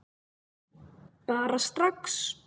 Bara strax.